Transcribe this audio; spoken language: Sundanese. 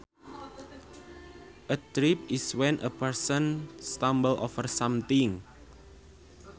A trip is when a person stumbles over something